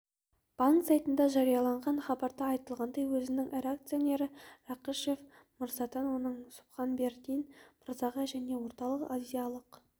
банк сайтында жарияланған хабарда айтылғандай өзінің ірі акционері рақышев мырзадан оның субханбердин мырзаға және орталық-азиялық